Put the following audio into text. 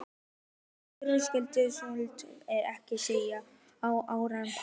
Össur Skarphéðinsson: Viltu ekkert segja um Árna Pál?